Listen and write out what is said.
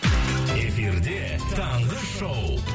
эфирде таңғы шоу